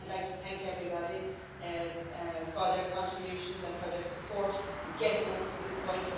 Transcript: Again, I'd like to thank everybody for their contributions and for their support in getting us to this point.